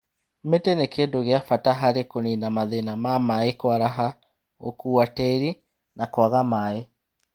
Mĩtĩ nĩ kĩndũ gĩa bata harĩ kũnina mathĩna ma maĩ kũaraha, gũkua tĩri na kwaga maĩ.